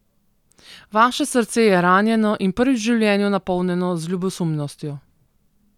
Vaše srce je ranjeno in prvič v življenju napolnjeno z ljubosumnostjo.